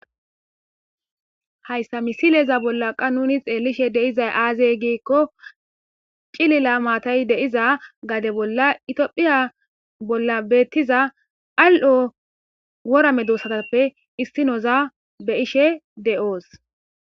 Hayssa misileeza bolla qa nuni xeellishe deizay aazey giikko cilila maatay deiza gade bolla itiphiya bolla beettiza al'o worame duossatappe issinoza be ishe de'oos.